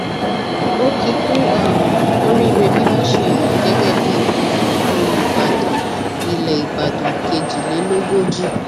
ó kì í kú um oríire bí wọn ṣe yàn án gẹgẹ bíi um olùbàdàn ilẹ ìbàdàn kejìlélógójì